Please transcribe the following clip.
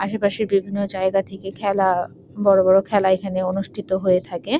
আশে পশে বিভিন্ন জায়গা থেকে খেলা বড়ো বড়ো খেলা এখানে অনুষ্ঠিত হয়ে থাকে।